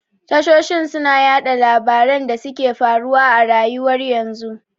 Tashoshi suna yaɗa labaran da suke faruwa a rayuwar yanzu